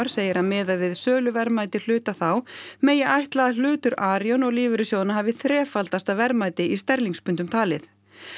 segir að miðað við söluverðmæti hluta þá megi ætla að hlutur Arion og lífeyrissjóðanna hafi þrefaldast að verðmæti í sterlingspundum talið